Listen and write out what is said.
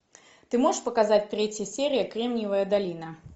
ты можешь показать третью серию кремниевая долина